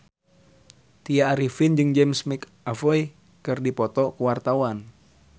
Tya Arifin jeung James McAvoy keur dipoto ku wartawan